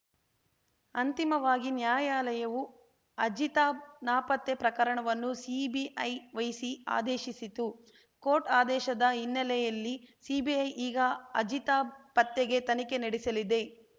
ಅಂತಿಮವಾಗಿ ನ್ಯಾಯಾಲಯವು ಅಜಿತಾಬ್‌ ನಾಪತ್ತೆ ಪ್ರಕರಣವನ್ನು ಸಿಬಿಐ ವಹಿಸಿ ಆದೇಶಿಸಿತು ಕೋರ್ಟ್‌ ಆದೇಶದ ಹಿನ್ನೆಲೆಯಲ್ಲಿ ಸಿಬಿಐ ಈಗ ಅಜಿತಾಬ್‌ ಪತ್ತೆಗೆ ತನಿಖೆ ನಡೆಸಲಿದೆ